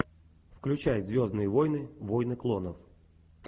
включай звездные войны войны клонов